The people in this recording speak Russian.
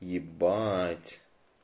ебать